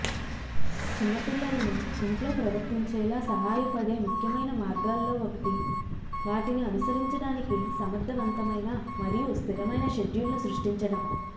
చిన్న పిల్లలను ఇంట్లో ప్రవర్తించేలా సహాయపడే ముఖ్యమైన మార్గాల్లో ఒకటి వాటిని అనుసరించడానికి సమర్థవంతమైన మరియు స్థిరమైన షెడ్యూల్ను సృష్టించడం